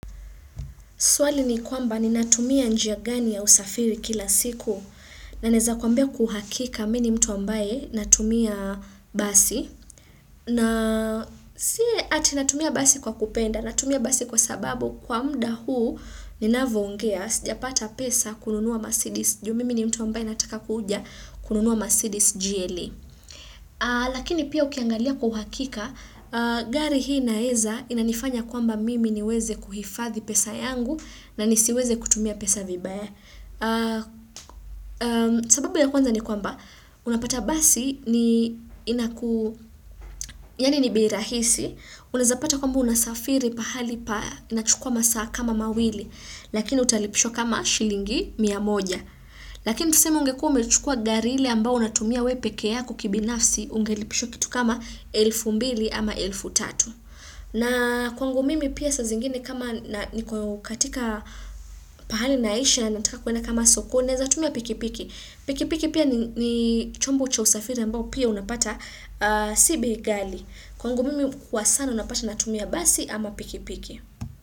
Swali ni kwamba ni natumia njia gani ya usafiri kila siku na naeza kwambia kwa uhakika mini mtu ambaye natumia basi na si ati natumia basi kwa kupenda natumia basi kwa sababu kwa mda huu ni navo ongea sija pata pesa kununua masidis juu mimi ni mtu ambaye nataka kuja kununua masidis gle. Lakini pia ukiangalia kwa uhakika, gari hii naeza inanifanya kwamba mimi niweze kuhifadhi pesa yangu na nisiweze kutumia pesa vibaya. Sababu ya kwanza ni kwamba, unapata basi ni inaku, yani ni bei rahisi, unazapata kwamba unasafiri pahali pa, inachukua masaa kama mawili, lakini utalipishwa kama shilingi miamoja. Lakini tuseme ungekuwa ume chukua gari ile ambayo unatumia wepekee yako kibinafsi ungelipishwa kitu kama elfu mbili ama elfu tatu na kwangu mimi pia sa zingine kama niko katika pahali na isha na nataka kuenda kama sokoni naweza tumia pikipiki Pikipiki pia ni chombo cha usafiri ambao pia unapata sibei ghali Kwangu mimi kwa sana unapata natumia basi ama pikipiki.